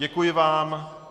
Děkuji vám.